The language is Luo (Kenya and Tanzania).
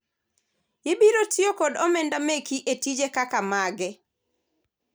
ibiro tiyo kod omenda meki e tije kaka mage ?